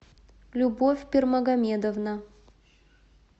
любовь пирмагомедовна